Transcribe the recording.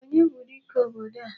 Onye bụ dike obodo a?